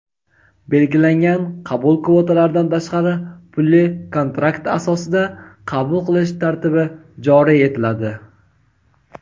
belgilangan qabul kvotalaridan tashqari pulli-kontrakt asosida qabul qilish tartibi joriy etiladi.